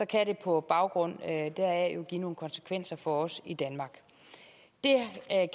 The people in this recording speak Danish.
kan det på baggrund deraf give nogle konsekvenser for os i danmark det